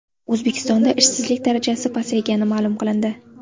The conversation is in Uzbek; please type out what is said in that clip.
O‘zbekistonda ishsizlik darajasi pasaygani ma’lum qilindi.